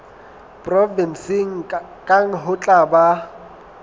provenseng kang ho tla ba